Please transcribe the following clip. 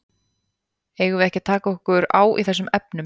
Eigum við ekki að taka okkur á í þessum efnum?